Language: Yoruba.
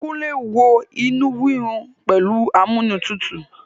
Kúnlé wo inú rírun pẹ̀lú amúnútutù